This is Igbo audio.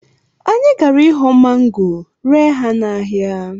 Anyị gara ịghọ mango ree ha n’ahịa